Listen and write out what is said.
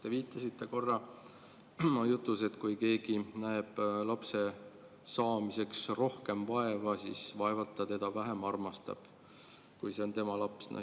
Te viitasite korra oma jutus, et kui keegi näeb lapse saamiseks rohkem vaeva, siis vaevalt ta teda vähem armastab, kui see on tema laps.